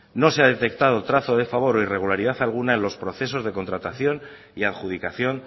no se ha detectado trazo de favor o irregularidad alguna en los procesos de contratación y adjudicación